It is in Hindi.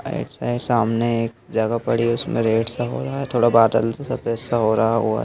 ऐसे सामने एक जगह पड़ी उसमें रेड सा हो रहा है थोड़ा बदल से सफेद सा हो रहा होगा--